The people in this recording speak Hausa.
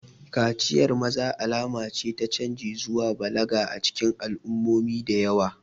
Kaciyar maza alama ce ta canji zuwa balaga a cikin al'ummomi da yawa.